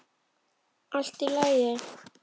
Allt í lagi!